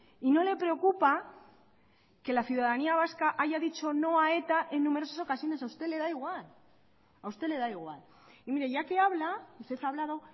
y no le preocupa que la ciudadanía vasca haya dicho no a eta en numerosas ocasiones a usted le da igual y mire ya que habla usted ha hablado